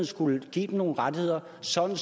skulle give dem nogle rettigheder sådan